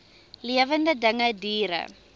lewende dinge diere